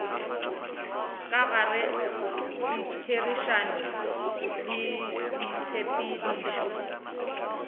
ka gare ditherišano le ditshepedišo